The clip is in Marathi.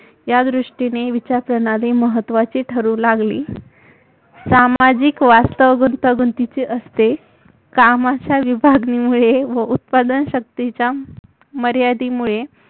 या दृष्टीने विचारप्रणाली महत्वाची ठरु लागली सामाजिक वास्तव गुतांगुतींचे असते कामाच्या विभागणीमुळे व उत्पादन शक्तीच्या मर्यादेमुळे